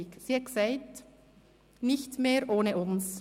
Sie hat gesagt: «Nicht mehr ohne uns.